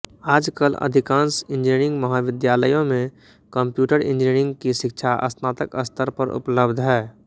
आजकल अधिकांश इंजिनियरिंग महाविद्यालयों में कम्प्यूटर इंजीनियरिंग की शिक्षा स्नातक स्तर पर उपलब्ध है